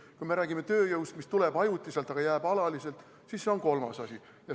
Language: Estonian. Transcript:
Kui me räägime tööjõust, mis tuleb ajutiselt, aga jääb alaliselt, siis see on kolmas asi.